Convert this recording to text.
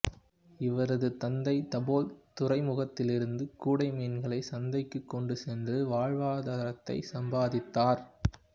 இவரது தந்தை தபோல் துறைமுகத்திலிருந்து கூடை மீன்களை சந்தைக்கு கொண்டு சென்று வாழ்வாதாரத்தை சம்பாதித்தார்